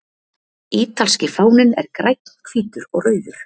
Ítalski fáninn er grænn, hvítur og rauður.